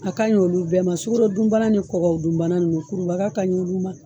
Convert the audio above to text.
A ka ɲin olu bɛɛ ma, sugarodun bana ni kɔkɔdun bana ninnu kurubaga ka ɲin olu ma.